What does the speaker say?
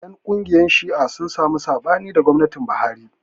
Ƴan ƙungiyar Shi'a sun samu saɓani da gwamnatin Buhari.